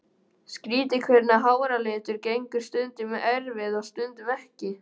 Skrýtið hvernig háralitur gengur stundum í erfðir og stundum ekki.